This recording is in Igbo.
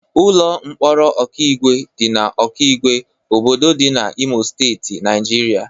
Ụlọ mkpọrọ Okigwe dị na Okigwe, obodo dị na Imo Steeti, Naijiria.